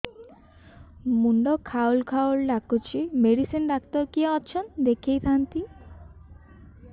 ମୁଣ୍ଡ ଖାଉଲ୍ ଖାଉଲ୍ ଡାକୁଚି ମେଡିସିନ ଡାକ୍ତର କିଏ ଅଛନ୍ ଦେଖେଇ ଥାନ୍ତି